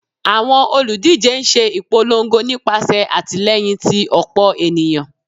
Awọn oludije n ṣe ipolongo nipasẹ atilẹyin ti ọpọ eniyan